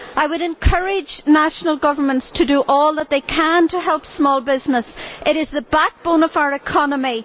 I would encourage national governments to do all they can to help small business, which is the backbone of our economy.